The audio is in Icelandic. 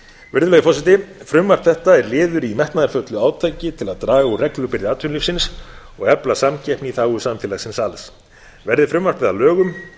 virðulegi forseti frumvarp þetta er liður í metnaðarfullu átaki til að draga úr reglubyrði atvinnulífsins og efla samkeppni í þágu samfélagsins alls verði frumvarpið að lögum